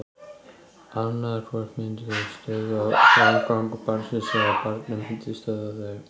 Annað hvort myndu þau stöðva framgang barnsins eða barnið myndi stöðva þau.